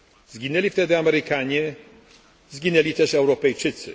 Zginęli wtedy Amerykanie, zgięli też Europejczycy.